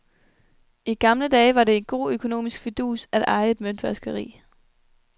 I gamle dage var det en god økonomisk fidus at eje et møntvaskeri.